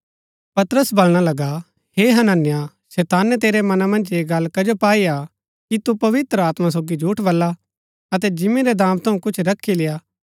पतरस बलणा लगा हे हनन्याह शैताने तेरै मना मन्ज ऐह गल्ल कजो पाई हा कि तू पवित्र आत्मा सोगी झूठ बला अतै जिंमी रै दाम थऊँ कुछ रखी लेय्आ